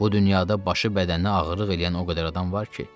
Bu dünyada başı bədəninə ağırlıq eləyən o qədər adam var ki.